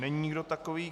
Není nikdo takový.